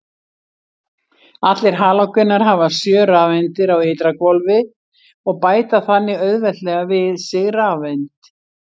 Allir halógenar hafa sjö rafeindir á ytra hvolfi og bæta þannig auðveldlega við sig rafeind.